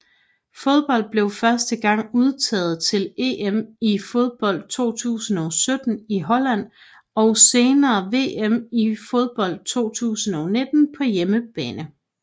Hun blev første gang udtaget til EM i fodbold 2017 i Holland og senere VM i fodbold 2019 på hjemmebane